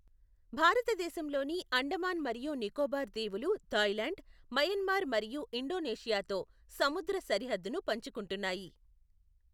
భారతదేశంలోని అండమాన్ మరియు నికోబార్ దీవులు థాయిలాండ్, మయన్మార్ మరియు ఇండోనేషియాతో సముద్ర సరిహద్దును పంచుకుంటున్నాయి.